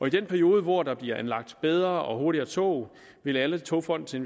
i den periode hvor der bliver anlagt bedre og hurtigere tog vil alle togfonden